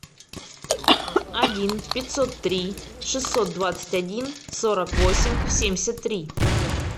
один пятьсот три шестьсот двадцать один сорок восемь семьдесят три